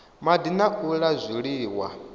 madi na u la zwiliwa